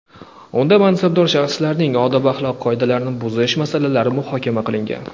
unda mansabdor shaxslarning odob-axloq qoidalarini buzish masalalari muhokama qilingan.